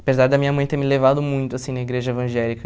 Apesar da minha mãe ter me levado muito assim na igreja evangélica,